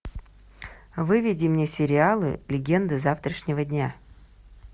выведи мне сериалы легенды завтрашнего дня